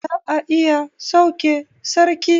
Za a iya sauke sarki